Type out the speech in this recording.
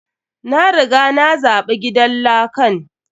Na riga na zaɓi gidan lakan.